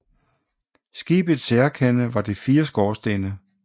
Skibets særkende var de fire skorstene